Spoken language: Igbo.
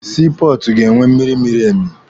Sii pọọtụ ga-enwe mmịrị mịrị ime.